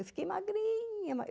Eu fiquei magrinha.